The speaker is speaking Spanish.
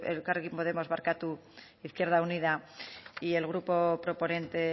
elkarrekin podemos izquierda unida y el grupo proponente